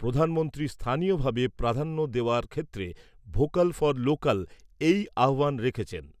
প্রধানমন্ত্রী স্থানীয়ভাবে প্রাধান্য দেওয়ার ক্ষেত্রে 'ভোকাল ফর লোকাল' এই আহ্বান রেখেছেন।